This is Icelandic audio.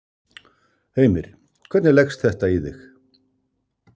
Heimir: Hvernig leggst þetta í þig?